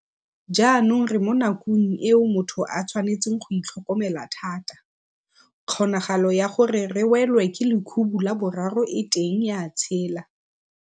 Jaanong re mo nakong eo motho a tshwanetseng go itlhokomela thata. Kgonagalo ya gore re welwe ke lekhubu la boraro e teng ya tshela.